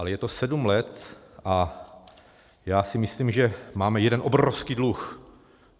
Ale je to sedm let a já si myslím, že máme jeden obrovský dluh.